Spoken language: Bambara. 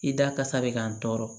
I da kasa bɛ ka n tɔɔrɔ